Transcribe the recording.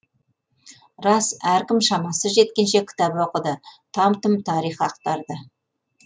рас әркім шамасы жеткенше кітап оқыды там тұм тарих ақтарды